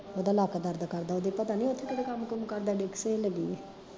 ਓਦਾ ਲੱਕ ਦਰਦ ਕਰਦਾ ਓਦੇ ਪਤਾ ਨੀ ਓਥੇ ਕਿਹੜਾ ਕੰਮ ਕੁਮ ਕਰਦਾ ਡਿਕਸ ਹਿੱਲ ਗਈ ਏ